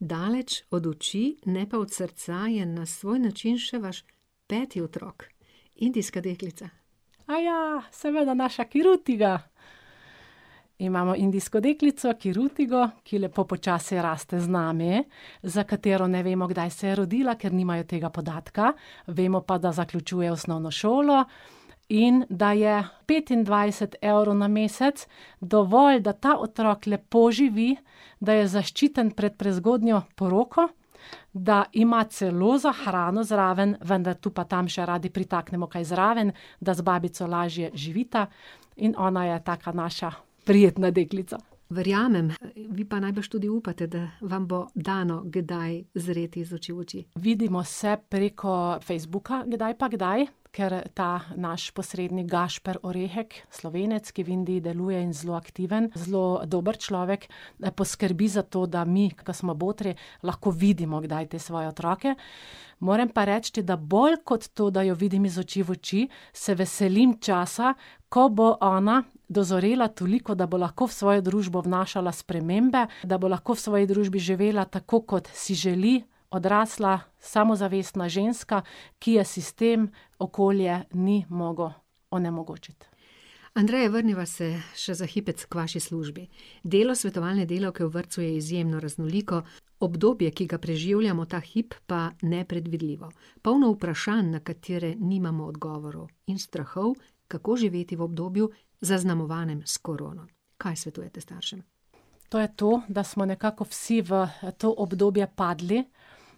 Daleč od oči, ne pa od srca, je na svoj način še vaš peti otrok. Indijska deklica. Aja, seveda, naša Kirutiga! Imamo indijsko deklico Kirutigo, ki lepo počasi raste z nami, za katero ne vemo, kdaj se je rodila, ker nimajo tega podatka, vemo pa, da zaključuje osnovno šolo in da je petindvajset evrov na mesec dovolj, da ta otrok lepo živi, da je zaščiten pred prezgodnjo poroko, da ima celo za hrano zraven, vendar tu pa tam še radi pritaknemo kaj zraven, da z babico lažje živita. In ona je taka naša prijetna deklica. Verjamem, vi pa najbrž tudi upate, da vam bo dano kdaj zreti iz oči v oči. Vidimo se preko Facebooka kdaj pa kdaj, ker ta naš posrednik, [ime in priimek] , Slovenec, ki v Indiji deluje in zelo aktiven, zelo dober človek, poskrbi za to, da mi, ke smo botri, lahko vidimo kdaj te svoje otroke. Moram pa reči, da bolj kot to, da jo vidim iz oči v oči, se veselim časa, ko bo ona dozorela toliko, da bo lahko v svojo družbo vnašala spremembe, da bo lahko v svoji družbi živela tako, kot si želi, odrasla, samozavestna ženska, ki je sistem, okolje ni moglo onemogočiti. Andreja, vrniva se še za hipec k vaši službi. Delo svetovalne delavke v vrtcu je izjemno raznoliko, obdobje, ki ga preživljamo ta hip, pa nepredvidljivo. Polno vprašanj, na katere nimamo odgovorov, in strahov, kako živeti v obdobju, zaznamovanem s korono. Kaj svetujete staršem? To je to, da smo nekako vsi v, to obdobje padli,